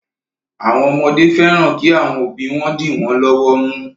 Àwọn ọmọdé fẹ́ran kí àwọn òbí wọn dì wọ́n lọ́wọ́ mú.